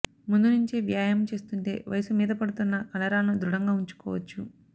ముందునుంచే వ్యాయామం చేస్తుంటే వయసు మీద పడుతున్నా కండరాలను దృఢంగా ఉంచుకోవచ్చు